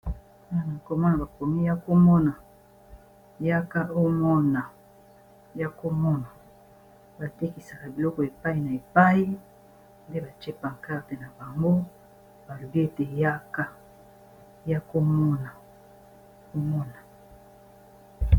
akomona bakomi yaka ya komona yaka omona ! yaka omona .batekisaka biloko epai na epai nde batie pankarte na bango balobi ete yaka !yaka komona